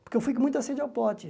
Porque eu fui com muita a sede ao pote.